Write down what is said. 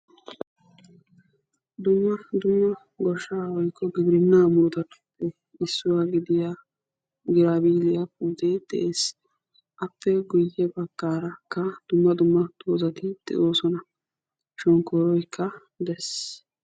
Dumma dumma goshshaa woykko gibirinna murutattuppe issuwaa gidiya giraabiliya puute de'ees. Appe guyye baggaarakka dumma dumma dozati de'osona. Shonkkoroykka des.